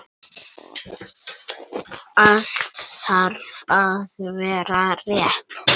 Allt þarf að vera rétt.